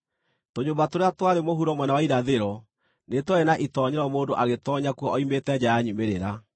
Tũnyũmba tũrĩa twarĩ mũhuro mwena wa irathĩro nĩ twarĩ na itoonyero mũndũ agĩtoonya kuo oimĩte nja ya nyumĩrĩra.